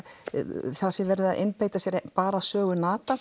verið að einbeita sér bara sögu